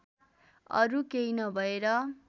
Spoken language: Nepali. अरू केही नभएर